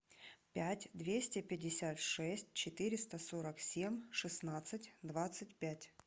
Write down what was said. пять двести пятьдесят шесть четыреста сорок семь шестнадцать двадцать пять